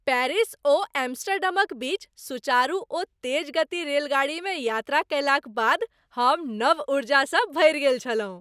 Paris ओ एम्स्टर्डमक बीच सुचारु ओ तेज गति रेलगाड़ीमे यात्रा कयलाक बाद हम नव ऊर्जासँ भरि गेल छलहुँ।